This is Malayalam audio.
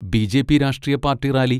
ബി.ജെ.പി. രാഷ്ട്രീയ പാർട്ടി റാലി.